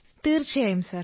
തീർച്ചയായും സർ